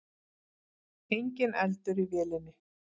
Enginn eldur í vélinni